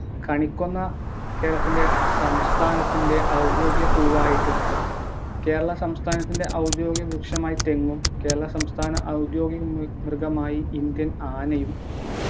കണിക്കൊന്ന കേരളത്തിൻ്റെ സംസ്ഥാനത്തിൻ്റെ ഔദ്യോഗിക പൂവായിട്ടും കേരള സംസ്ഥാനത്തിൻ്റെ ഔദ്യോഗിക വൃക്ഷമായ തെങ്ങും കേരള സംസ്ഥാന ഔദ്യോഗിക മൃഗമായി Indian ആനയും